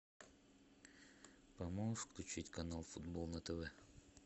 поможешь включить канал футбол на тв